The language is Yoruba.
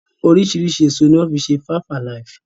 Oriṣiriṣi èso ni wọ́n fi ṣe Five alive.